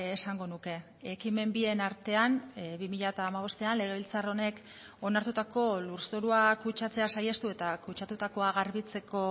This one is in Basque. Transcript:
esango nuke ekimen bien artean bi mila hamabostean legebiltzar honek onartutako lurzorua kutsatzea saihestu eta kutsatutakoa garbitzeko